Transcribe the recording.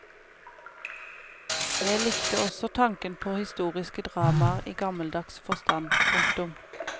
Jeg likte også tanken på historiske dramaer i gammeldags forstand. punktum